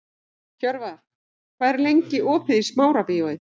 Hjörvar, hvað er lengi opið í Smárabíói?